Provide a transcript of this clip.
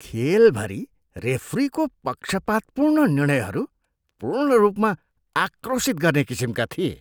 खेलभरि रेफ्रीको पक्षपातपूर्ण निर्णयहरू पूर्ण रूपमा आक्रोशित गर्ने किसिमका थिए।